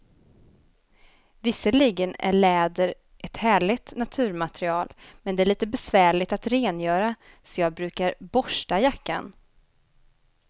Visserligen är läder ett härligt naturmaterial, men det är lite besvärligt att rengöra, så jag brukar borsta jackan.